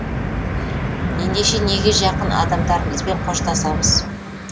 ендеше неге жақын адамдарымызбен қоштасамыз